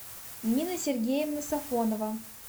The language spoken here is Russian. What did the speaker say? нина сергеевна сафонова